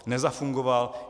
Nezafungoval.